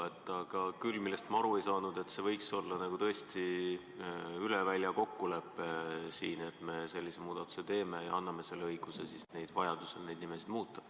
Küll aga ei saanud ma aru, miks see ei võiks olla n-ö üle välja kokkulepe, et me sellise muudatuse teeme ja anname õiguse vajaduse korral neid nimesid muuta.